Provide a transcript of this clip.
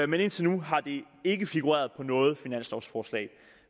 men indtil nu har det ikke figureret på noget finanslovforslag